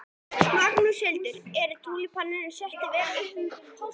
Magnús Hlynur: En túlípanarnir seljast vel um páskana?